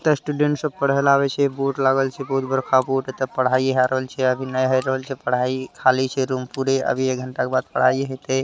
students सब पढ़ेल आवे छे बोर्ड लागल छे बहोत बरका बोर्ड लागल छे तथा पढ़ाई हो रहल छे अभी नाय हो रहल छे पढ़ाई खाली छे रूम पूरे| अभी एक घंटा के बाद पढ़ाई होते |